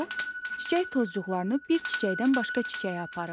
O çiçək tozcuqlarını bir çiçəkdən başqa çiçəyə aparır.